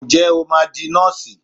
Ǹjẹ́ o máa di Nọ́ọ̀sì?